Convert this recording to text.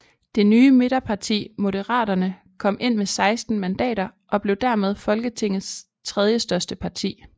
Det nye midterparti Moderaterne kom ind med 16 mandater og blev dermed Folketingets tredjestørste parti